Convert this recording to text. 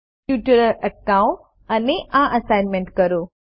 tutorial અટકાવો અને આ એસાઈનમેન્ટ કરો